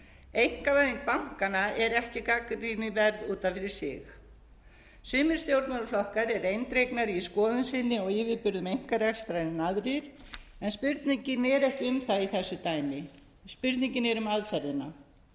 einkavæðing bankanna er ekki gagnrýnisverð út af fyrir sig sumir stjórnmálaflokkar eru eindregnari í skoðun sinni á yfirburðum einkarekstrar en aðrir en spurningin er ekki um það í þessu dæmi spurningin er um aðferðina